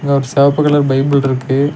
இங்க ஒரு செவப்பு கலர் பைபிள் ருக்கு.